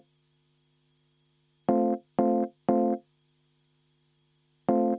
Ettepanek ei leidnud toetust.